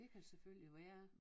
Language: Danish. Det kan selvfølgelig være